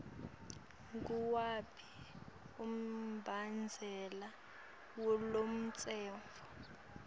nguwuphi umbandzela walomtsetfo